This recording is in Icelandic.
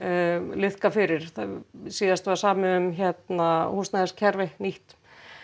liðka fyrir síðast var samið um húsnæðiskerfi nýtt